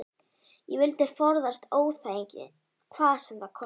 Ég vildi forðast óþægindi hvað sem það kostaði.